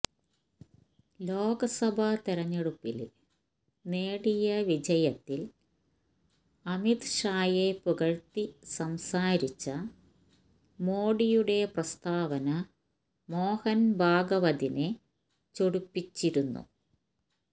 ലോക്സഭാ തെരഞ്ഞെടുപ്പില് നേടിയ വിജയത്തില് അമിത്ഷായേ പുകഴ്ത്തി സംസാരിച്ച മോഡിയുടെ പ്രസ്താവന മോഹന്ഭാഗവതിനേ ചൊടിപ്പിച്ചിരുന്നു